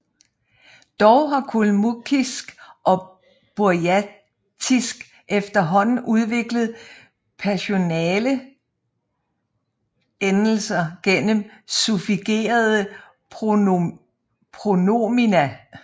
Dog har kalmuckisk og burjatisk efterhånden udviklet personalendelser gennem suffigerede pronomina